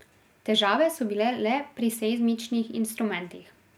Težave so bile le pri seizmičnih instrumentih.